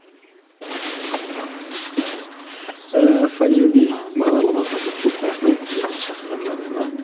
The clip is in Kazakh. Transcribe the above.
қас қағым сәтте мхм ыыы файндюрби бағдарламасына көп көп рахмет мені шақырғандарыңызға